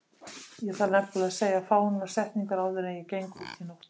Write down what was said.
Ég þarf nefnilega að segja fáeinar setningar áður en ég geng út í nóttina.